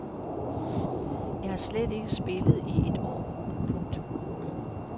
Jeg har slet ikke spillet i et år. punktum